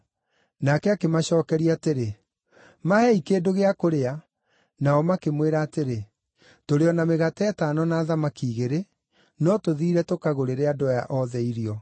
Nake akĩmacookeria atĩrĩ, “Maheei kĩndũ gĩa kũrĩa.” Nao makĩmwĩra atĩrĩ, “Tũrĩ o na mĩgate ĩtano na thamaki igĩrĩ, no tũthiire tũkagũrĩre andũ aya othe irio.”